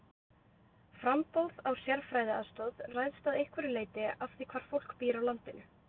Framboð á sérfræðiaðstoð ræðst að einhverju leyti af því hvar fólk býr á landinu.